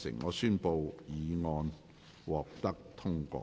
我宣布議案獲得通過。